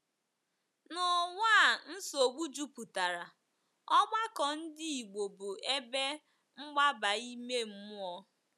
N’ụwa a nsogbu jupụtara, ọgbakọ Ndị Igbo bụ ebe mgbaba ime mmụọ.